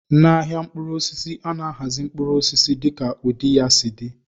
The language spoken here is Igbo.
N'ahịa mkpụrụ osisi, a na-ahazi mkpụrụ osisi dịka ụdị ya si dị.